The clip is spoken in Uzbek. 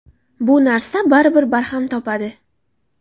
Bu narsa baribir barham topadi.